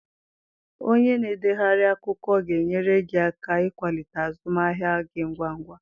Onye na-edegharị akwụkwọ ga-enyere gị aka ịkwalite azụmahịa gị ngwa ngwa.